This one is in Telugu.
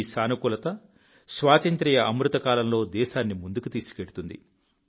ఈ సానుకూలత స్వాతంత్ర్య అమృతకాలంలో దేశాన్ని ముందుకు తీసుకెళ్తుంది